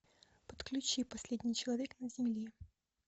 подключи последней человек на земле